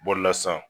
Bɔlila sisan